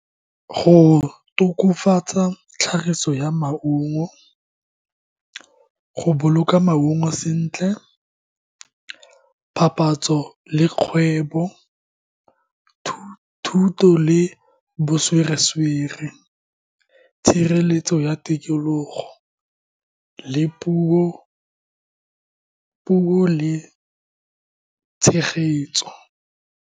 Go tokofatsa tlhagiso ya maungo, go boloka maungo sentle, papatso le kgwebo, thuto le , tshireletso ya tikologo le puo le tshegetso.